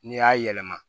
N'i y'a yɛlɛma